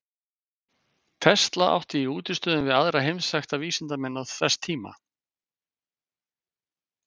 Tesla átti í útistöðum við aðra heimsþekkta vísindamenn þess tíma.